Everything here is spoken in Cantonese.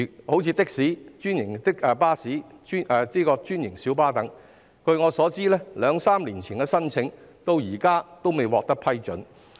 例如的士、專營巴士及小巴等，據我所知，它們在兩三年前的加價申請至今仍然未獲批准。